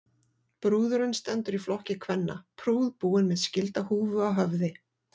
Brúðurin stendur í flokki kvenna, prúðbúin með skildahúfu á höfði.